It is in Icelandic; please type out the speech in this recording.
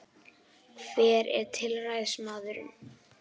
Hver er tilræðismaðurinn